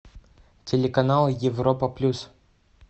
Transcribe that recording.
телеканал европа плюс